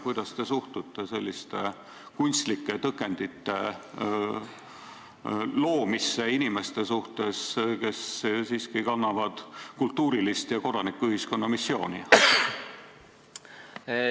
Kuidas te suhtute selliste kunstlike tõkendite loomisesse inimeste suhtes, kes siiski kannavad kultuurilist ja kodanikuühiskonna missiooni?